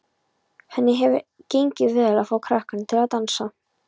Henni hefur gengið vel að fá krakkana til að dansa.